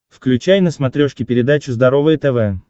включай на смотрешке передачу здоровое тв